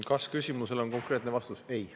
Kas-küsimusele on konkreetne vastus: ei. .